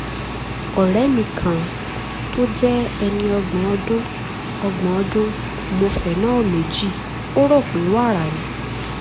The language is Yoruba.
ọ̀rẹ́ mi kan tó jẹ́ ẹni ọgbọ̀n ọdún ọgbọ̀n ọdún mu phenol méjì ó rò pé wàrà ni